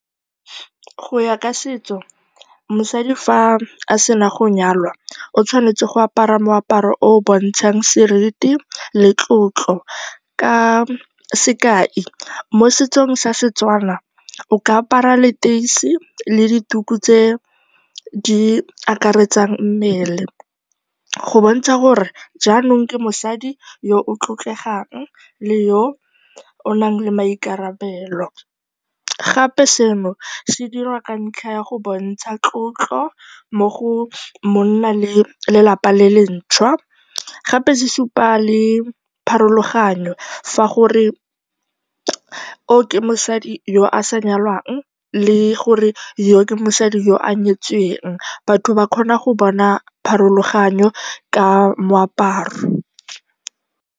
Go ya ka setso, mosadi fa a sena go nyalwa o tshwanetse go apara moaparo o o bontshang seriti le tlotlo. Ka sekai, mo setsong sa Setswana, o ka apara leteisi le dituku tse di akaretsang mmele go bontsha gore jaanong ke mosadi yo o tlotlegang le yo o nang le maikarabelo. Gape seno se dirwa ka ntlha ya go bontsha tlotlo mo go monna le lelapa le le ntšhwa. Gape se supa le pharologanyo fa gore yo ke mosadi yo a sa nyalwang le gore yo ke mosadi yo a nyetsweng, batho ba kgona go bona pharologano ka moaparo.